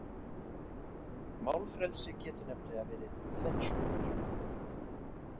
Málfrelsi getur nefnilega verið tvenns konar.